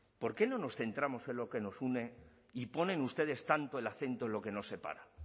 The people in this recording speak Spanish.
por qué no nos centramos en lo que nos une y ponen ustedes tanto el acento en lo que nos separa